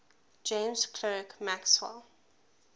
james clerk maxwell